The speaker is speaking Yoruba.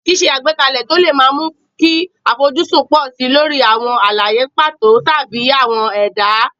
Ṣíṣe àgbékalẹ̀ tí ó le máa ń mú kí àfojúsùn pọ̀ sí i lórí àwọn àlàyé pàtó tàbí àwọn ẹ̀dá.